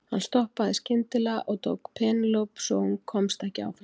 Hann stoppaði skyndilega og tók í Penélope svo hún komst ekki áfram.